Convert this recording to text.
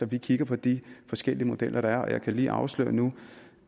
vi kigger på de forskellige modeller der er og jeg kan lige afsløre nu